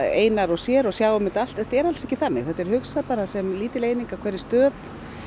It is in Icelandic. einar og sér og sjái um þetta allt en þetta er alls ekki þannig þetta er hugsað sem lítil eining á hverri stöð